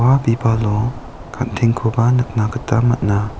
bibalo gan·tengkoba nikna gita man·a.